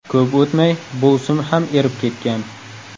Ko‘p o‘tmay, bu sim ham erib ketgan.